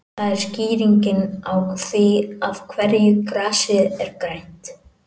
Það er skýringin á því af hverju grasið er grænt.